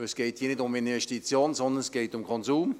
Es geht hier nicht um Investitionen, sondern um Konsum.